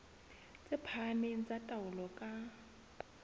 tse phahameng tsa taolo ka